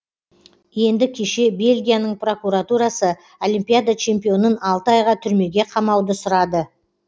енді кеше бельгияның прокуратурасы олимпиада чемпионын алты айға түрмеге қамауды сұрады